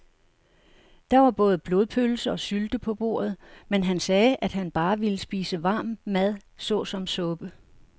Der var både blodpølse og sylte på bordet, men han sagde, at han bare ville spise varm mad såsom suppe.